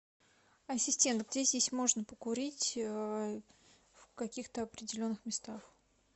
ассистент где здесь можно покурить в каких то определенных местах